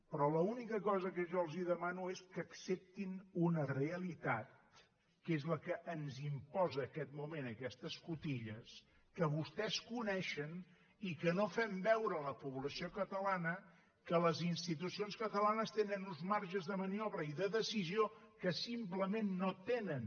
però l’única cosa que jo els demano és que acceptin una realitat que és la que ens imposa en aquest moment aquestes cotilles que vostès coneixen i que no fem veure a la població catalana que les institucions catalanes tenen uns marges de maniobra i de decisió que simplement no tenen